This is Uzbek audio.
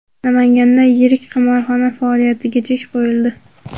Namanganda yirik qimorxona faoliyatiga chek qo‘yildi.